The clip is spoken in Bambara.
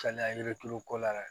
Kaliya yirituru ko la